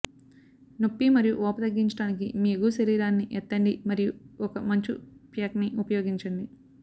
నొప్పి మరియు వాపు తగ్గించడానికి మీ ఎగువ శరీరాన్ని ఎత్తండి మరియు ఒక మంచు ప్యాక్ని ఉపయోగించండి